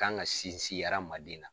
kan ka sinsin aramaden na.